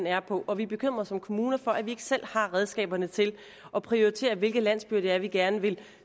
er på og vi er bekymret som kommune for at vi ikke selv har redskaberne til at prioritere hvilke landsbyer det er vi gerne vil